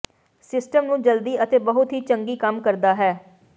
system ਨੂੰ ਜਲਦੀ ਅਤੇ ਬਹੁਤ ਹੀ ਚੰਗੀ ਕੰਮ ਕਰਦਾ ਹੈ